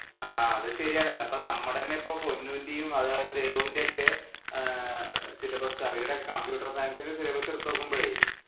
ആ അത് ശരിയാണ്. ഇപ്പം നമ്മുടെ തന്നെ പൊന്നൂന്‍റെയും അതുപോലെ തന്നെ ദേവുവിന്റെയും ഒക്കെ ആഹ് syllabus അവരുടെ computer science ഇന്‍റെ syllabus എടുത്തു നോക്കുമ്പോഴേ